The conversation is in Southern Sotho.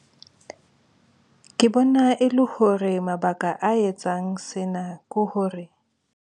Ke bona e le hore mabaka a etsang sena ke hore.